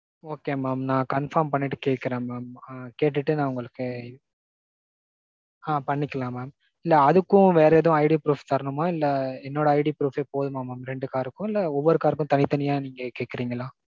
okay mam நான் confirm பன்னிட்டு கேக்குறேன் mam. கேட்டுட்டு நான் உங்களுக்கு. ஆ பண்ணிக்கலாம் mam இல்ல அதுக்கும் வேற ஏதாவது IDproof தரணுமா? இல்ல என்னோட IDproof போதுமா mam ரெண்டு car க்கு. இல்ல ஒவ்வொரு car க்கும் தனி தனியா நீங்க கேக்குறீங்களா?